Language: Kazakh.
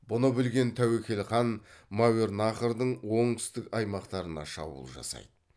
бұны білген тәуекел хан мәуернахрдың оңтүстік аймақтарына шабуыл жасайды